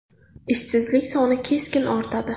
Ishsizlik soni keskin ortadi.